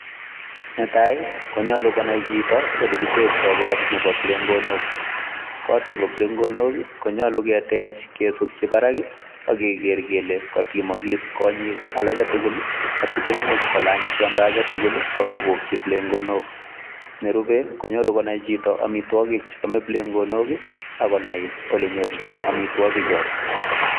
Netai konyalu konai chito olegitektoi kot nebo kiplengonok. Kot nebo kiplengonok ii konyalu ketech kesutyi barak ak keger kele katimagis konyik alage tugul asimemuch kolanyany tiondo age tugul ak kobokyi kiplengonok. Nerupe, konyalu konai chito amitwogik cheame kiplengonok, ak konai olenyorchin amitwogikcho.